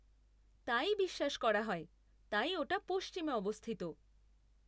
তাই বিশ্বাস করা হয়, তাই ওটা পশ্চিমে অবস্থিত।